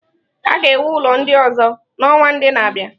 A ga-ewu ụlọ ndị ọzọ n'ọnwa ndị na-abịa.